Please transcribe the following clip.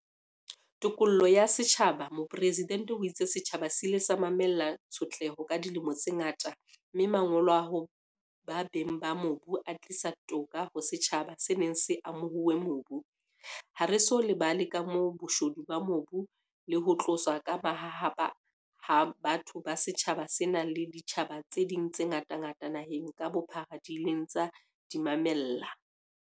Tokoloho ya setjhabaMopresidente o itse setjhaba se ile sa mamella tshotleho ka dilemo tse ngata mme "Mangolo a hoba beng ba mobu a tlisa toka ho setjhaba se neng se amohuwe mobu"."Ha re so lebale kamoho, boshodu ba mobu le ho tloswa ka mahahapa ha batho ba setjhaba sena le ditjhaba tse ding tse ngatangata naheng ka bophara di ileng tsa di mamella.